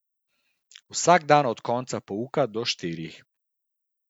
Vsak dan od konca pouka do štirih.